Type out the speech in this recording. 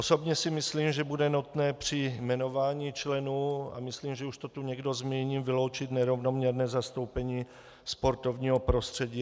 Osobně si myslím, že bude nutné při jmenování členů, a myslím, že už to tu někdo zmínil, vyloučit nerovnoměrné zastoupení sportovního prostředí.